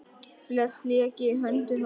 Flest lék í höndum hans.